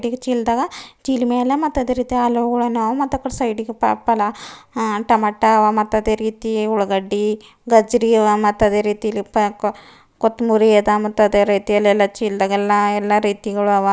ಚೀಲದಾಗ ಚೀಲ ಮ್ಯಾಲ ಮತ್ತ್ ಅದೆ ರೀತಿ ಆಲೂಗೋಳನ ಅವ ಮತ್ತ್ ಅಕಿಡಿ ಸೈಡಿ ಗೆ ಪಾಕ್ ಪಲಾ ಹಾ ಟಮ್ಯಾಟ ಅವ ಮತ್ತ್ ಅದೆ ರೀತಿ ಉಳ್ಳಗಡ್ಡಿ ಗಜ್ಜರಿ ಅವ ಮತ್ತ್ ಅದೆ ರೀತೀ ಇಲ್ಲಿ ಕೊತ್ತುಮುರಿ ಅದ ಮತ್ತ್ ಅದೆ ರೀತಿಯಲ್ಲಿ ಎಲ್ಲಾ ಚಿಲದಾಗ ಎಲ್ಲಾ ಎಲ್ಲಾ ರೀತಿಗಳ ಅವ.